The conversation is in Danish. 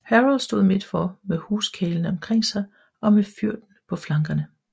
Harold stod midtfor med huskarlene omkring sig og med fyrden på flankerne